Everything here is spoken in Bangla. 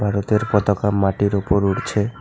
ভারতের পতাকা মাটির ওপর উড়ছে।